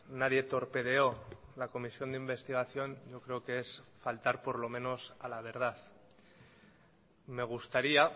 nadie torpedeó la comisión de investigación yo creo que es faltar por lo menos a la verdad me gustaría